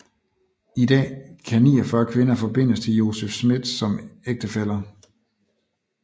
I dag kan 49 kvinder forbindes til Joseph Smith som ægtefæller